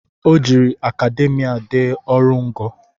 O jiri akademia dee ọrụ ngo